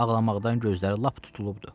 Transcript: Ağlamaqdan gözləri lap tutulubdu.